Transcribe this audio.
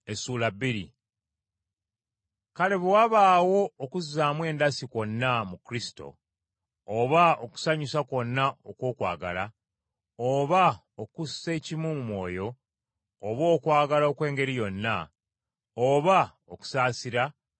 Kale bwe wabaawo okubazaamu endasi kwonna mu Kristo, oba okusanyusa kwonna okw’okwagala, oba okussa ekimu mu mwoyo, oba okwagala okw’engeri yonna, oba okusaasira,